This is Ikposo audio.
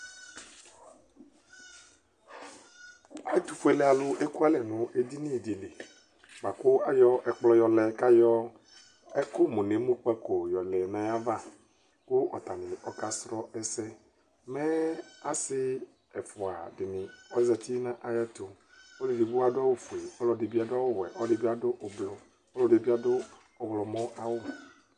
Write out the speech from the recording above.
Ɛtʋfuelealʋ ekualɛ nʋ edini dɩ li bʋa kʋ ayɔ ɛkplɔ yɔlɛ kʋ ayɔ ɛkʋmʋnʋemukpako yɔlɛ nʋ ayava kʋ atanɩ ɔkasrɔ ɛsɛ Mɛ asɩ ɛfʋa dɩnɩ ɔzati nʋ ayɛtʋ Ɔlʋ edigbo adʋ awʋfue, ɔlɔdɩ bɩ adʋ awʋwɛ, ɔlɔdɩ bɩ adʋ ʋblʋ, ɔlɔdɩ bɩ adʋ ɔɣlɔmɔ awʋ